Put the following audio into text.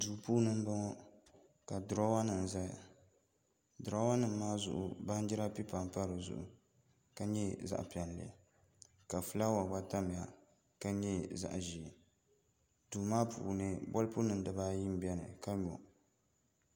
Duu puuni n bɔŋɔ ka duroowa nim ʒɛya duroowa nim maa zuɣu baanjira pipa n pa dizuɣu ka nyɛ zaɣ piɛlli ka fulaawa gba tamya ka nyɛ zaɣ ʒiɛ duu maa puuni bolfu nim dibaayi n biɛni ka nyo